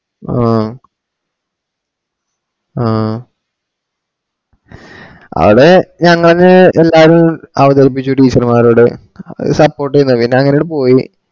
ആ ആ അത് ഞങ്ങള് എല്ലാരു അവതരിപ്പിച്ചു teacher മാരോട് അവര് support ചെയ്തു പിന്ന അങ്ങന അങ്ങട്ട് പോയി